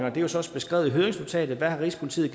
er jo så også beskrevet i høringsnotatet hvad rigspolitiet